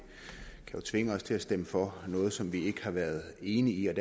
kan jo tvinge os til at stemme for noget som vi ikke har været enige i